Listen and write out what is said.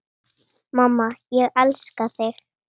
Mamma, ég elska þig.